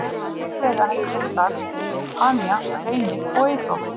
Auk þeirra hefðu verið þar Tanya, Reynir og Eyþór.